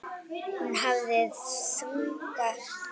Hún hafði þunga rödd.